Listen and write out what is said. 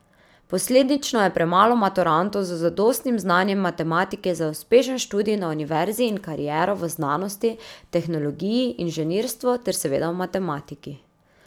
Posledično je premalo maturantov z zadostnim znanjem matematike za uspešen študij na univerzi in kariero v znanosti, tehnologiji, inženirstvu ter seveda v matematiki.